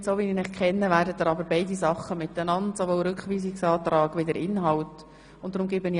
Aber wie ich Sie kenne, werden Sie das Geschäft und den Rückweisungsantrag zusammen diskutieren wollen.